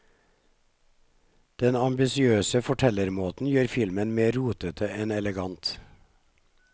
Den ambisiøse fortellermåten gjør filmen mer rotete enn elegant.